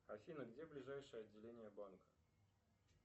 афина где ближайшее отделение банка